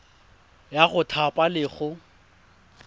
ya go thapa le go